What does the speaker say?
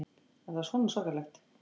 Var það svona svakalegt?